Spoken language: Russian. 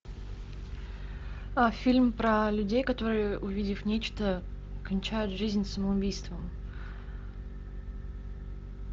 фильм про людей которые увидев нечто кончают жизнь самоубийством